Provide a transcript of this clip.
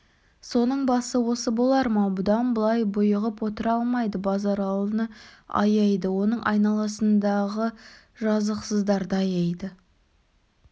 соның басы осы болар ма бұдан былай бұйығып отыра алмайды базаралыны аяйды оның айналасындағы жазықсыздарды аяйды